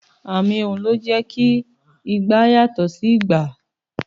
Àmì ohùn ló jẹ́ kí igba yàtọ̀ sí ìgbà.